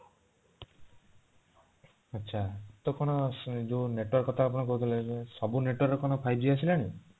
ଆଛା ତ କଣ network କଥା ଆପଣ କହୁଥିଲେ ସବୁ network ର କଣ five g ଆସିଲାଣି